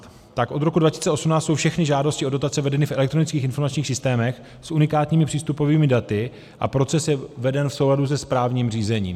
Tak od roku 2018 jsou všechny žádosti o dotace vedeny v elektronických informačních systémech s unikátními přístupovými daty a proces je veden v souladu se správním řízením.